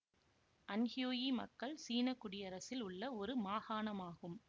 Anhui மக்கள் சீன குடியரசில் உள்ள ஒரு மாகாணம் ஆகும்